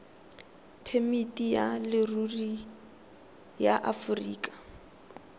phemiti ya leruri ya aforika